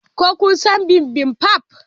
Ko kun san bibimbap?